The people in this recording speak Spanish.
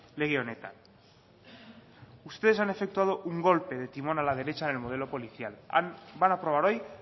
lege honetan ustedes han efectuado un golpe de timón a la derecha en el modelo policial van a aprobar hoy